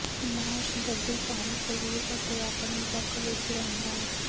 marsh ਡੱਡੂ ਪਾਣੀ ਸਰੀਰ ਅਤੇ ਆਪਣੇ ਬਕ ਵਿੱਚ ਰਹਿੰਦਾ ਹੈ